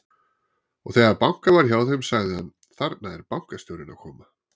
Og þegar bankað var hjá þeim, sagði hann: Þarna er bankastjórinn að koma.